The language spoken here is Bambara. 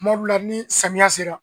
Kuma dɔw la ni samiya sera.